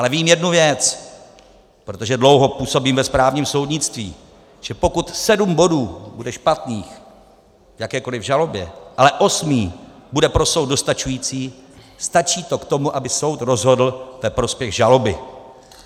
Ale vím jednu věc, protože dlouho působím ve správním soudnictví: že pokud sedm bodů bude špatných v jakékoliv žalobě, ale osmý bude pro soud dostačující, stačí to k tomu, aby soud rozhodl ve prospěch žaloby.